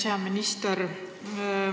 Hea minister!